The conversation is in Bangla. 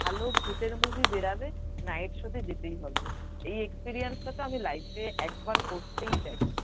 ভালো ভূতের মুভি বেরোবে night show তে যেতেই হবে। এই experience টা আমি life এ একবার করতেই চাই।